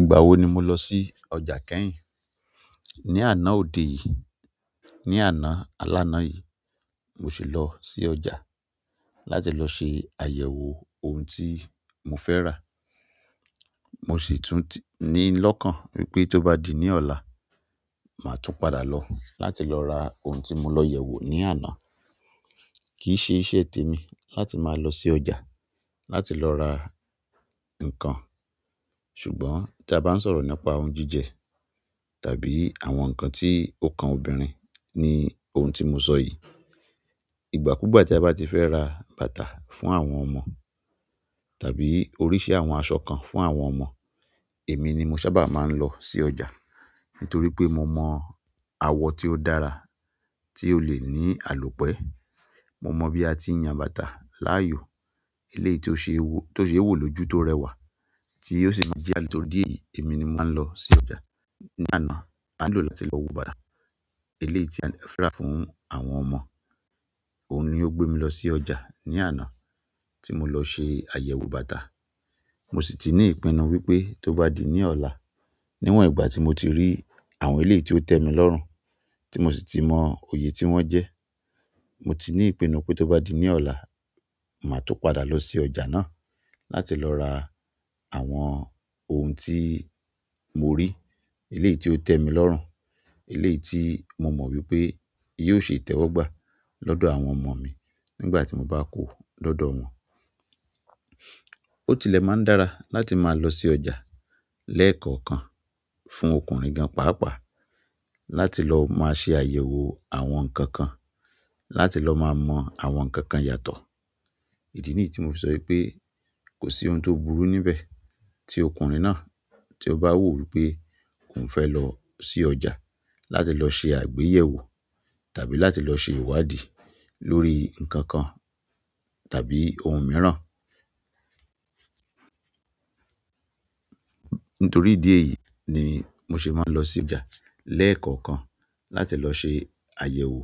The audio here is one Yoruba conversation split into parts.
Ìgbà wo ni mo losi ọjà kẹ́yìn? Ní àná òde yìí, ní àná alána yìí mo sì lọ sí ọjà láti lọ ṣe àyẹ̀wò ohun tí mo fẹ́ ra. Mo sì tún ti ní lọ́kàn wípé tó bá di ní ọ̀la, màá tún padà lọ láti lọ ra ohun tí mo lọ yẹ̀wò ní àná. Ki n se iṣẹ́ temi láti maa losi ọjà, láti lo ra nkan ṣùgbọ́n ti aba n sọ̀rọ̀ nípa oun jíjẹ tàbí àwọn nkan ti o kan obìnrin ni oun ti mo so yi. Ìgbà kú gbà tí a bá ti fẹ́ ra bàtà fún àwọn ọmọ tàbí oríṣi àwọn aṣọ kan fún àwọn ọmọ, èmi ni mo sábà máa ń lọ sí ọjà nítorí pé mo mọ awọ tí ó dára tí ó lè ní àlọ́pẹ́. Mo mọ bi àti yan bàtà laayoo eleyii ti o se wo loju ti o rẹwà ti o si emi ni mo maa n losi ọjà. Ní àná, a nílò láti lọ wo bàtà eléyìí tí a fẹ́ rà fún àwọn ọmọ, òun ni ó gbé mi lọ sí ọjà ní àná tí mo lọ ṣe àyẹ̀wò bàtà. Mosi ti ni ipinu wípé to ba ti di ni ola ni won gba ti mo ti ri àwọn eleyi ti o te mi lorun ti mosi ti mo oye ti wọn je. Mo ti ní ìpinnu pé tó bá di ní ọ̀la, màá tún padà lọ sí ọjà náà láti lọ ra àwọn ohun tí mo rí, eléyìí tí ó tẹ́ mi lọ́rùn, eléyìí tí mo mọ́ wípé yóò ṣe ìtẹ́wọ́gbà lọ́dọ̀ àwọn ọmọ mi nígbà tí mo bá kó lọ́dọ̀ wọn. Ó tilẹ̀ máa ń dára láti máa lọ sí ọjà lẹ́ẹ̀kọ̀ọ̀kan fún ọkùnrin gan pàápàá láti lọ máa ṣe àyẹ̀wò àwọn ǹkan kan, láti lọ máa mọ àwọn ǹkan kan yàtọ̀. Idi niyi ti mo fi so wípé kosi oun ti o burú níbẹ̀ ti ọkùnrin náà ti o ba wo wípé oun fe lo si ọjà láti lo se àgbéyẹ̀wò tàbí láti lọ ṣe iwadi lórí nkankan tàbí oun miran. Nítorí ìdí èyí ni mo ṣe máa ń lọ sí ọjà lẹ́ẹ̀kọ̀ọ̀kan láti lọ ṣe àyẹ̀wò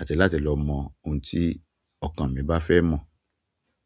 àti láti lọ mọ ohun tí ọkàn mi bá fẹ́ mọ̀.